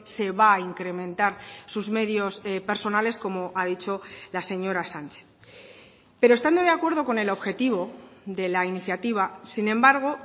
se va a incrementar sus medios personales como ha dicho la señora sánchez pero estando de acuerdo con el objetivo de la iniciativa sin embargo